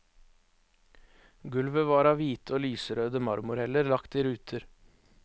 Gulvet var av hvite og lyserøde marmorheller lagt i ruter.